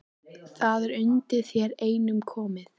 Það er undir þér einum komið